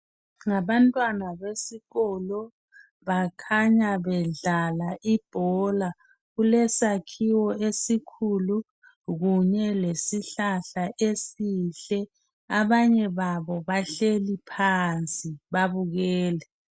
Ngabantwana besikolo. Bakhanya bedlala ibhola. Kulesakhiwo esikhulu. Kunye lesihlahla esihle. Abanye babo, bahleli phansi babukele.